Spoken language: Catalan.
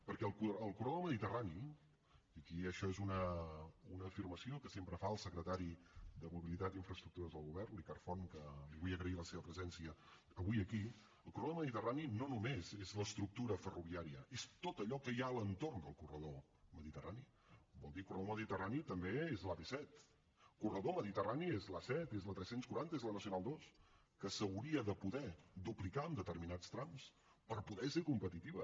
perquè el corredor mediterrani i aquí això és una afirmació que sempre fa el secretari de mobilitat i infraestructures del govern el ricard font que li vull agrair la seva presència avui aquí el corredor mediterrani no només és l’estructura ferroviària és tot allò que hi ha a l’entorn del corredor mediterrani vol dir corredor mediterrani també és l’ap set corredor mediterrani és l’a set és la tres cents i quaranta és la nacional ii que s’hauria de poder duplicar en determinats trams per poder ser competitiva